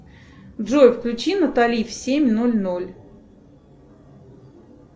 джой включи натали в семь ноль ноль